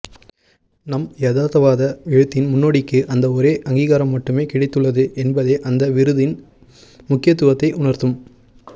நம் யதார்த்தவாத எழுத்தின் முன்னோடிக்கு அந்த ஒரே அங்கீகாரம் மட்டுமே கிடைத்துள்ளது என்பதே அந்த விருதின் முக்கியத்துவத்தை உணர்த்தும்